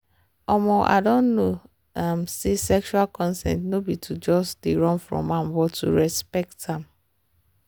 um i don know um say sexual consent no be to just dey run from am but to respect am.